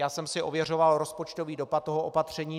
Já jsem si ověřoval rozpočtový dopad toho opatření.